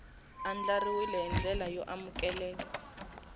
andlariwile hi ndlela yo amukeleka